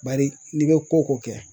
Bari n'i bɛ ko ko kɛ